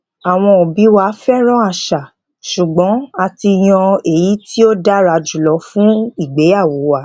àwọn obi wa fẹràn àṣà ṣùgbọn a ti yan èyí tí ó dára jùlọ fún ìgbéyàwó wa